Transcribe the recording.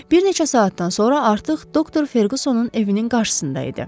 Bir neçə saatdan sonra artıq doktor Ferqusonun evinin qarşısında idi.